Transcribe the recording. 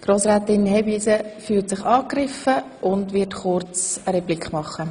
Grossrätin Hebeisen fühlt sich angegriffen und wird kurz eine Replik machen.